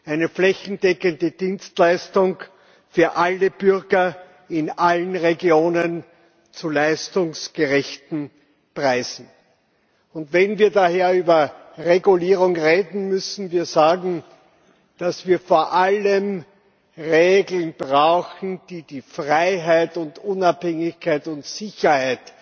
Sie sorgen für flächendeckende Dienstleistungen für alle Bürger in allen Regionen zu leistungsgerechten Preisen. Wenn wir daher über Regulierung reden, müssen wir sagen, dass wir vor allem Regeln brauchen, die die Freiheit, die Unabhängigkeit und die Sicherheit